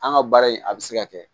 An ka baara in a bɛ se ka kɛ